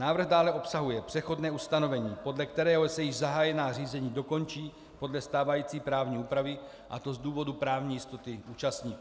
Návrh dále obsahuje přechodné ustanovení, podle kterého se již zahájená řízení dokončí podle stávající právní úpravy, a to z důvodu právní jistoty účastníků.